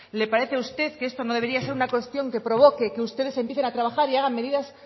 le parece a usted que esto no debería ser una cuestión que provoque que ustedes empiecen a trabajar y hagan medidas